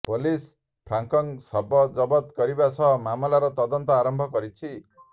police ଫ୍ରାଙ୍କକ ଶବ ଜବତ କରିବା ସହ ମାମଲାର ତଦନ୍ତ ଆରମ୍ଭ କରିଛି